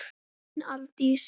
Þín Aldís.